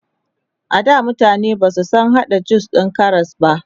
ada mutane Basu San hada jus din Karas ba